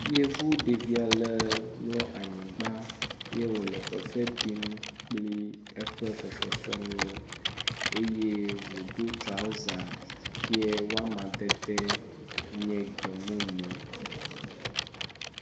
Yevu ɖevi ale mlɔ anyigba ye wole fefe dim kple eƒe fefe fefe nuwo eye wodo trɔza ke woama dede nye gbe mumu.